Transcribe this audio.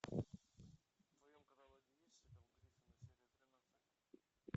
в твоем каталоге есть сериал гриффины серия тринадцать